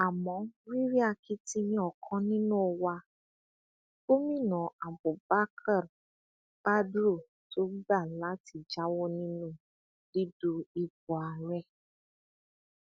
a mọ rírì akitiyan ọkan nínú wa gomina abubakar badru tó gbà láti jáwọ nínú dídú ipò ààrẹ